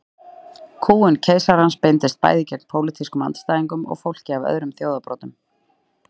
Kúgun keisarans beindist bæði gegn pólitískum andstæðingum og fólki af öðrum þjóðarbrotum.